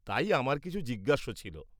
তাই আমার কিছু জিজ্ঞাস্য ছিল।